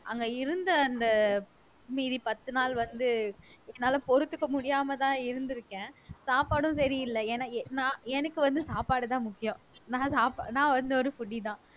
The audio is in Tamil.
அங்க இருந்த அந்த மீதி பத்து நாள் வந்து என்னால பொறுத்துக்க முடியாமதான் இருந்துருக்கேன் சாப்பாடும் சரியில்லை ஏன்னா நான் எனக்கு வந்து சாப்பாடுதான் முக்கியம் நான் ச நான் வந்து ஒரு foodie தான்